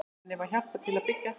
Henni var hjálpað til byggða.